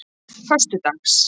föstudags